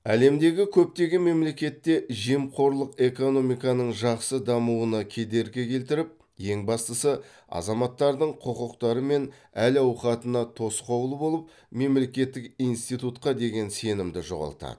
әлемдегі көптеген мемлекетте жемқорлық экономиканың жақсы дамуына кедергі келтіріп ең бастысы азаматтардың құқықтары мен әл ауқатына тосқауыл болып мемлекеттік институтқа деген сенімді жоғалтады